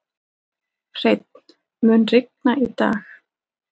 Hreinn, mun rigna í dag?